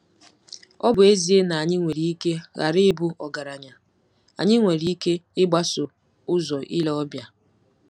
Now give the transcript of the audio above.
Ọ bụ ezie na anyị nwere ike ghara ịbụ ọgaranya, anyị nwere ike 'ịgbaso ụzọ ile ọbịa.